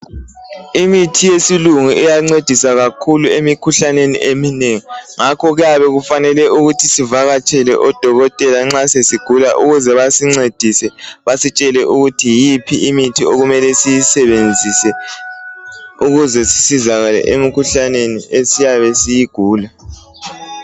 Imithi yesilungu iyancedisa kakhulu emikhuhlaneni eminengi. Ngakho kuyabe kufanele ukuthi sivakatshele odokotela nxa sesigula ukuze basincedise basitshele ukuthi yiphi imithi okuyabe kumele siyisebenzise ukuze sizikale emikhuhlaneni esiyabe siyigula.